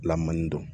Lamɔni don